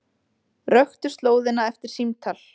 Röktu slóðina eftir símtal